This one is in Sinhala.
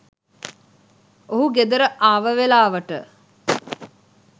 ඔහු ගෙදර ආව වෙලාවට.